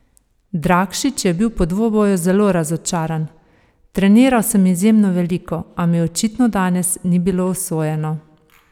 Drakšič je bil po dvoboju zelo razočaran: "Treniral sem izjemno veliko, a mi očitno danes ni bilo usojeno.